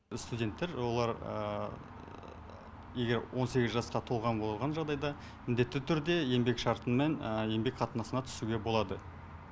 студенттер олар егер он сегіз жасқа толған болған жағдайда міндетті түрде еңбек шартымен еңбек қатынасына түсуге болады